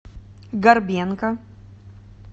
горбенко